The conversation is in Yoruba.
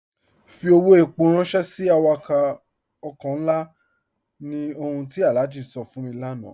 Fí ọwọ́ èpó ránṣẹ̀ sí àwàkọ̀ ọ̀kọ̀ nlá, ní ọ̀hùn ti Alhaji sọ̀ fún mi lánà.